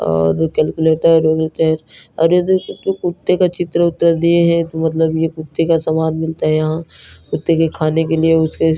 और कैल्कुलेटर बोलते हैं और यह देखो कुत्ते का चित्र-उत्र दिए हैं तो मतलब यह कुत्ते का सामान मिलता है यहां कुत्ते के खाने के लिए और उसके स--